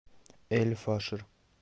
эль фашер